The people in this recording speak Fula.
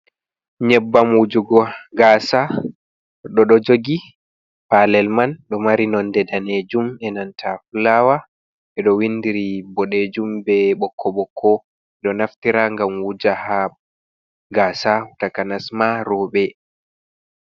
Nyebbam wujugo gasa, goɗɗo ɗo jogi palel man, ɗo mari nonde danejum e nanta fulawa edo windiri bodejum be bokko bokko, ɓeɗo naftira ngam wuja ha gasa takanas ma roɓe.